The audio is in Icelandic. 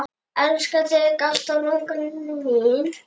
Elska þig alltaf, langa mín.